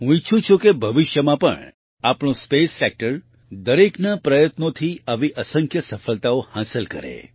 હું ઈચ્છું છું કે ભવિષ્યમાં પણ આપણું સ્પેસ સેક્ટર દરેકના પ્રયત્નોથી આવી અસંખ્ય સફળતાઓ હાંસલ કરે